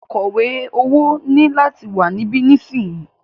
Akọ̀wẹ́ owó ní láti wà níbí nísìyí!